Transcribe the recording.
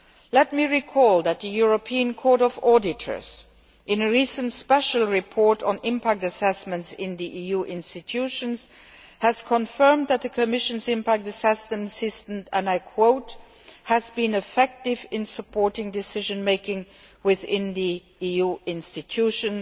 Let me recall that the European Court of Auditors, in a recent special report on impact assessments in the EU institutions, has confirmed that the Commission's impact assessment system has been effective in supporting decision making within the EU institutions'